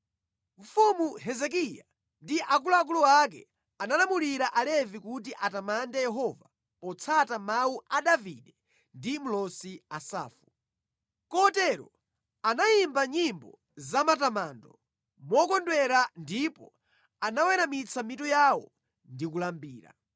Mfumu Hezekiya ndi akuluakulu ake analamulira Alevi kuti atamande Yehova potsata mawu a Davide ndi mlosi Asafu. Kotero anayimba nyimbo zamatamando mokondwera ndipo anaweramitsa mitu yawo ndi kulambira.